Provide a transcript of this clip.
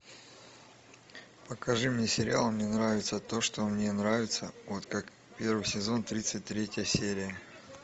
покажи мне сериал мне нравится то что мне нравится вот как первый сезон тридцать третья серия